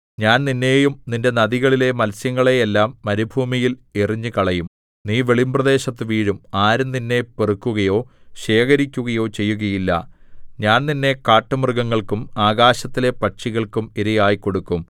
ഞാൻ നിന്നെയും നിന്റെ നദികളിലെ മത്സ്യങ്ങളെ എല്ലാം മരുഭൂമിയിൽ എറിഞ്ഞുകളയും നീ വെളിമ്പ്രദേശത്തു വീഴും ആരും നിന്നെ പെറുക്കുകയോ ശേഖരിക്കുകയോ ചെയ്യുകയില്ല ഞാൻ നിന്നെ കാട്ടുമൃഗങ്ങൾക്കും ആകാശത്തിലെ പക്ഷികൾക്കും ഇരയായി കൊടുക്കും